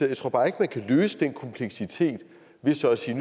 jeg tror bare ikke at man kan løse den kompleksitet ved så at sige